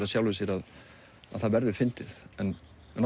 af sjálfu sér að það verður fyndið en